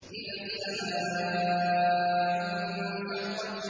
إِذَا السَّمَاءُ انشَقَّتْ